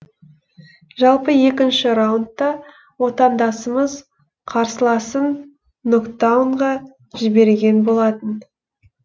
жалпы екінші раундта отандасымыз қарсыласын нокдаунға жіберген болатын